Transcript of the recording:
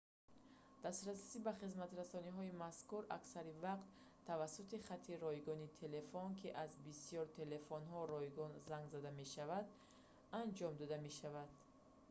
дастрасӣ ба хизматрасониҳои мазкур аксари вақт тавассути хати ройгони телефон ки аз бисёри телефонҳо ройгон занг зада мешаванд анҷом дода мешавад